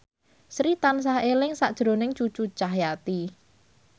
Sri tansah eling sakjroning Cucu Cahyati